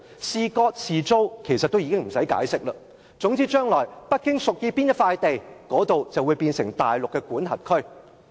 是割地還是租地其實已不用解釋，總之將來北京屬意哪一塊地，那裏就會成為大陸的管轄區。